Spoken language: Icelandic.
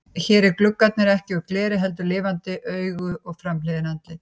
Hér eru gluggarnir ekki úr gleri heldur lifandi augu og framhliðin andlit.